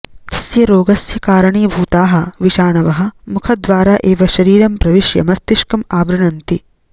तस्य रोगस्य कारणीभूताः विषाणवः मुखद्वारा एव शरीरं प्रविश्य मस्तिष्कम् आवृण्वन्ति